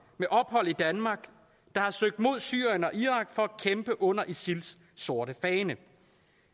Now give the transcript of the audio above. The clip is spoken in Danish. med ophold i danmark der har søgt mod syrien og irak for at kæmpe under isils sorte fane